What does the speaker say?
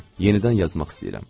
Yenidən yazmaq istəyirəm.